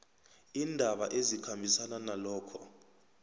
iindaba ezikhambisana nalokho